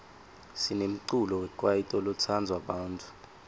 sinemculo wekwaito lotsandwa bantfu